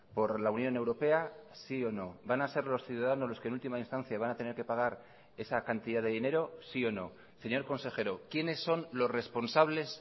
por la unión europea sí o no van a ser los ciudadanos los que en última instancia van a tener que pagar esa cantidad de dinero sí o no señor consejero quiénes son los responsables